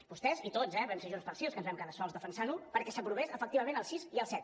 vostès i tots eh vam ser junts pel sí els que ens vam quedar sols defensant ho perquè s’aprovés efectivament el sis i el set